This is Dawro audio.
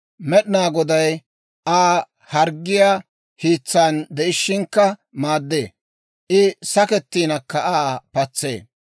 Med'inaa Goday Aa harggiyaa hiitsan de'ishiinakka maaddee; I sakkettinakka, Aa patsee.